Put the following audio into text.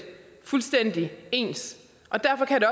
fuldstændig ens og derfor kan det